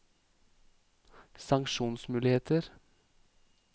sanksjonsmuligheter